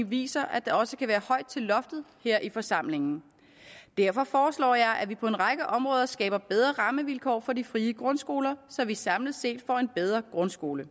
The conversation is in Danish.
vise at der også kan være højt til loftet her i forsamlingen derfor foreslår jeg at vi på en række områder skaber bedre rammevilkår for de frie grundskoler så vi samlet set får en bedre grundskole